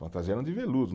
Fantasia eram de veludo.